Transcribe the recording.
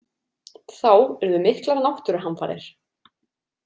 Þá urðu miklar náttúruhamfarir.